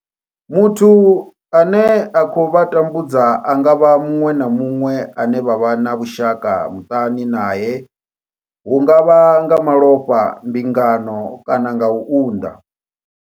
Muthu ane a khou vha tambudza a nga vha muṅwe na muṅwe ane vha vha na vhushaka muṱani nae hu nga vha nga malofha, mbingano kana u unḓa.